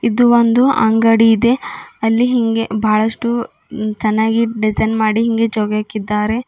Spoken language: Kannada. ಇದು ಒಂದು ಅಂಗಡಿ ಇದೆ ಅಲ್ಲಿ ಹಿಂಗೆ ಬಾಳಷ್ಟು ಚನ್ನಾಗಿ ಡಿಸೈನ್ ಮಾಡಿ ಹಿಂಗೆ ಜೋಗಿಹಾಕಿದ್ದಾರೆ.